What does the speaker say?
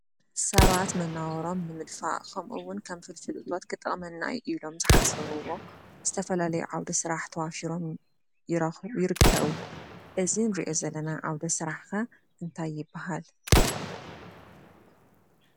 ሰባት መናባብረኦም ብምድፋእ ከምኡ እውን ከም ፍልፍል እቶት ክጠQመና እዩ ኢሎም ዝሓሰብዎ ዝተፈላለዩ ዓውደ ስራሕ ተዋፊሮም ይርከቡ። እዚ እንሪኦ ዘለና ዓውደ ስራሕ ከ እንታይ ይበሃል ?